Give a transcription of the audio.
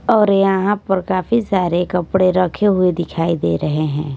और यहां पर काफी सारे कपड़े रखे हुए दिखाई दे रहे हैं।